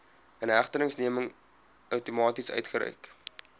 inhegtenisneming outomaties uitgereik